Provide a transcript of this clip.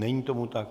Není tomu tak.